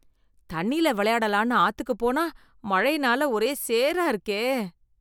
தண்ணில விளையாடலான்னு ஆத்துக்கு போனா மழைனால ஒரே சேரா இருக்கே.